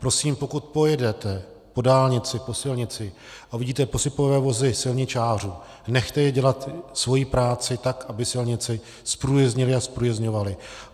Prosím, pokud pojedete po dálnici, po silnici a uvidíte posypové vozy silničářů, nechte je dělat svoji práci tak, aby silnici zprůjezdnili a zprůjezdňovali.